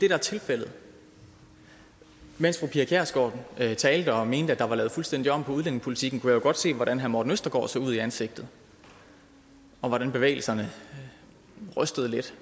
er tilfældet mens fru pia kjærsgaard talte og mente at der var lavet fuldstændig om på udlændingepolitikken kunne jeg jo godt se hvordan herre morten østergaard så ud i ansigtet og hvordan bevægelserne var rystede lidt